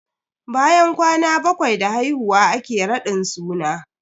Bayan kwana bakwai da haihuwa ake raɗin suna.